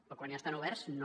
però quan ja estan oberts no